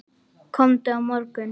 Komdu á morgun.